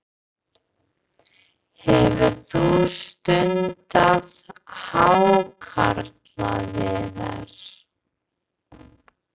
Hefur þú stundað hákarlaveiðar?